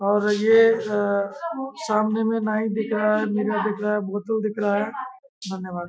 और ये सामने में नाई दिख रहा है मिरर दिख रहा है बोतल दिख रहा है धन्यवाद--